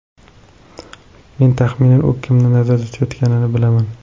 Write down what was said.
Men taxminan u kimni nazarda tutayotganini bilaman.